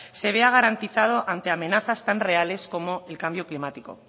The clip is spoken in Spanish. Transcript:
se vea garantizado ante amenazas tan reales como el cambio climático